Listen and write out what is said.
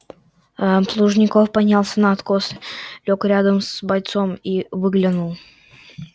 плужников поднялся на откос лёг рядом с бойцом и выглянул